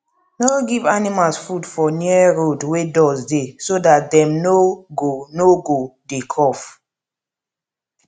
no give animals food for near road wey dust dey so dat dem no go no go dey cough